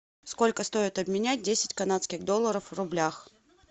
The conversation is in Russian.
сколько стоит обменять десять канадских долларов в рублях